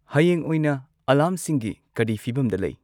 ꯍꯌꯦꯡ ꯑꯣꯏꯅ ꯑꯂꯥꯔꯝꯁꯤꯡꯒꯤ ꯀꯔꯤ ꯐꯤꯕꯝꯗ ꯂꯩ